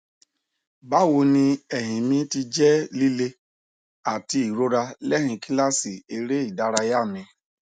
bawoni ẹyin mi ti jẹ lile ati irora lẹyin kilasi ereidaraya mi